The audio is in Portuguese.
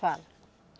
Fala.